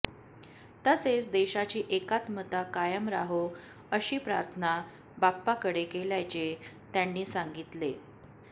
तसेच देशाची एकत्मता कायम राहो अशी प्रार्थना बाप्पाकडे केल्याचे त्यांनी सांगितले